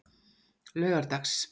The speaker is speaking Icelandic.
laugardags